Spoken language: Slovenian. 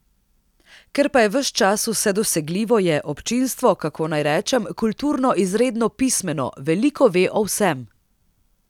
Ker pa je ves čas vse dosegljivo, je občinstvo, kako naj rečem, kulturno izredno pismeno, veliko ve o vsem.